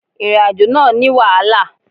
Ìrìnàjò náà ní wàhálà.